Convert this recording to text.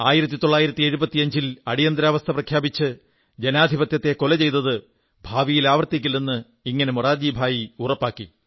1975 ൽ അടിയന്തരാവസ്ഥ പ്രഖ്യാപിച്ച് ജനാധിപത്യത്തെ കൊല ചെയ്തത് ഭാവിയിൽ ആവർത്തിക്കില്ലെന്ന് ഇങ്ങനെ മൊറാർജിഭായി ഉറപ്പാക്കി